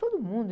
Todo mundo.